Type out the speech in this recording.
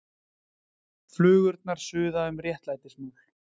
Flugurnar suða um réttlætismál